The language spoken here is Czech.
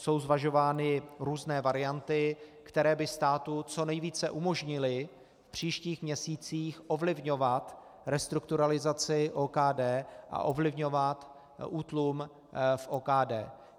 Jsou zvažovány různé varianty, které by státu co nejvíce umožnily v příštích měsících ovlivňovat restrukturalizaci OKD a ovlivňovat útlum v OKD.